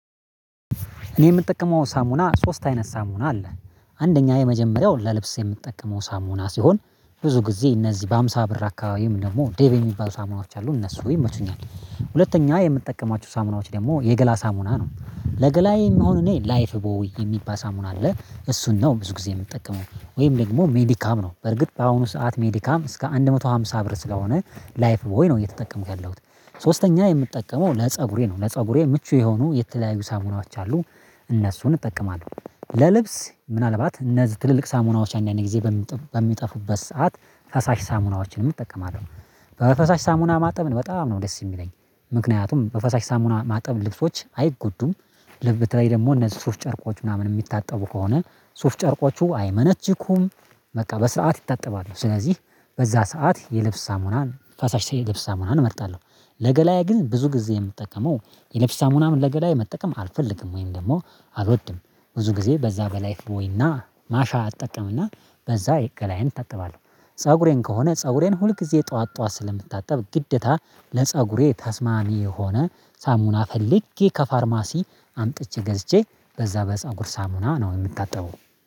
እኔ የምጠቀመው ሳሙና ሶስት አይነት ሳሙና አለ። አንደኛ የመጀመሪያው ለልብስ የምጠቀመው ሳሙና ሲሆን ብዙ ጊዜ እነዚህ በሃምሳ ብር አካባቢም ደግሞ ዴቭ የሚባሉ ሳሙናዎች አሉ እነሱ ይመቹኛል። ሁለተኛ የምትጠቀማቸው ሳሙናዎች ደግሞ የገላ ሳሙና ነው። ለገላዬ የሚሆን እኔ ላይፍ ቦይ የሚባል ሳሙና አለ። እሱን ነው ብዙ ጊዜ የምትጠቀመው። ወይም ደግሞ ሜዲካም ነው። በርግጥ በአሁኑ ሰዓት ሜዲካም እስከ አንድ መቶ ሃምሳ ብር ስለሆነ ላይፍ ወይ ነው እየተጠቀምክ ያለሁት። ሶስተኛ የምትጠቀመው ለፀጉሬ ነው፣ ለፀጉሬ ምቹ የሆኑ የተለያዩ ሳሙናዎች አሉ እነሱን እጠቀማለሁ። ለልብስ ምናልባት እነዚህ ትልልቅ ሳሙናዎች አንዳ አንድ ጊዜ በሚጠፉበት ሰዓት ፈሳሽ ሳሙናዎችን እጠቀማለሁ። በፈሳሽ ሳሙና ማጠብ በጣም ነው ደስ የሚለኝ። ምክንያቱም በፈሳሽ ሳሙና ማጠብ ልብሶች አይጎዱም፣ ልብ፤ በተለይ ደግሞ እነዚህ ሱፍ ጨርቆች ምናምን የሚታጠቡ ከሆነ ሱፍ ጨርቆቹ አይመነችኩም በቃ በሰአት ይታጠባሉ። ስለዚህ በዛ ሰዓት የልብስ ሳሙናን ፋሻሽ ሳይል ልብስ ሳሙናን እመርጣለሁ። ለገላዬ ግን ብዙ ጊዜ የምጠቀመው የልብስ ሳሙናም ለገላዬ መጠቀም አልፈልግም ወይም ደግሞ አልወድም። ብዙ ጊዜ በዛ በላይፍ ቦይና ማሻ አጠቀምና በዛ ገላዬን እታጠባለሁ። ፀጉሬን ከሆነ ፀጉሬን ሁል ጊዜ ጠዋት ጠዋት ስለምታጠብ ግድታ ለፀጉሬ ተስማሚ የሆነ ሳሙና ፈልጌ ከፋርማሲ አምጥቼ ገዝቼ በዛ በፀጉር ሳሙና ነው የምታጠበው።